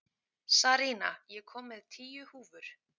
Sarína, ég kom með tíu húfur!